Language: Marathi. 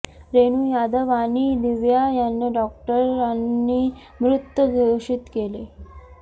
रेणू यादव आणि दिव्या यांना डॉक्टरांनी मृत घोषित केले